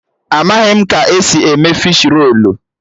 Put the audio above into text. Amaghị m ka esi eme fishi rolu